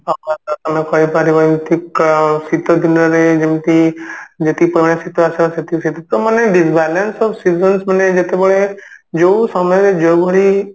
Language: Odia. ତମେ କହିପାରିବ ଏମିତି ଠିକ ଶୀତ ଦିନରେ ଯେମତି ଯେତିକି ପରିମାଣରେ ଶୀତ ଆସିବା କଥା ସେତିକି ତା ମାନେ Disbalance of seasons ମାନେ ଯେତେବେଳେ ଯଉ ସମୟରେ ଯଉ ଭଳି